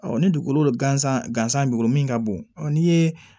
ni dugukolo gansan gansan b'o bolo min ka bon n'i ye